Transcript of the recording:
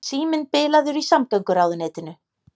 Síminn bilaður í samgönguráðuneytinu